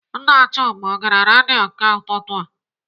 Nna Chuma ọ gere redio nke ụtụtụ a?